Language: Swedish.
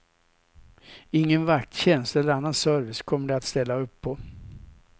Ingen vakttjänst eller annan service kommer de att ställa upp på.